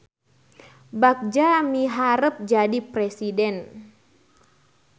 Bagja miharep jadi presiden